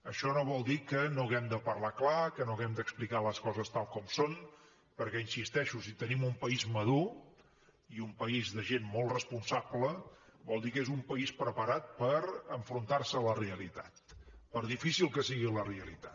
això no vol dir que no hàgim de parlar clar que no hàgim d’explicar les coses tal com són perquè hi insisteixo si tenim un país madur i un país de gent molt responsable vol dir que és un país preparat per enfrontar se a la realitat per difícil que sigui la realitat